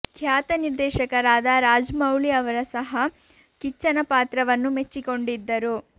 ಖ್ಯಾತ ನಿರ್ದೇಶಕರಾದ ರಾಜ್ ಮೌಳಿ ಅವರು ಸಹ ಕಿಚ್ಚನ ಪಾತ್ರವನ್ನು ಮೆಚ್ಚಿಕೊಂಡಿದ್ದರು